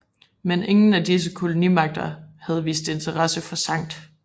Men ingen af disse kolonimagter havde vist interesse for Skt